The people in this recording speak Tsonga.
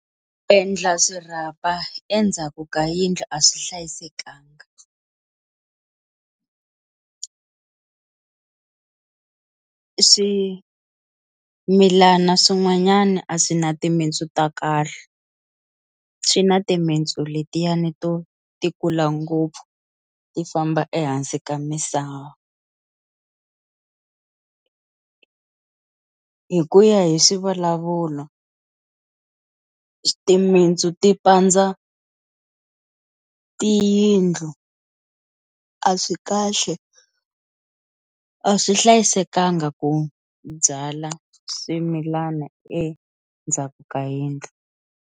Ku endla swirhapa endzhaku ka yindlu a swi hlayisekanga, swimilana swin'wanyana a swi na timitsu ta kahle swi na timitsu letiyani to ti kula ngopfu ti famba ehansi ka misava hi ku ya hi swivulavulo timitsu ti pandza tiyindlu, a swi kahle a swi hlayisekanga ku byala swimilana endzhaku ka yindlu.